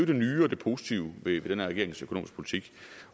det nye og det positive ved den her regerings økonomiske politik